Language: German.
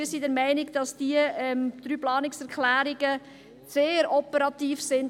Wir sind der Meinung, dass die drei Planungserklärungen sehr operativ sind.